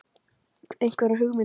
Einhverjar hugmyndir?